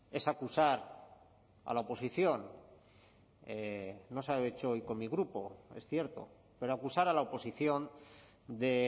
es acusar a la oposición no se ha hecho hoy con mi grupo es cierto pero acusar a la oposición de